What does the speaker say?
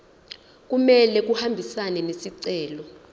kumele ahambisane nesicelo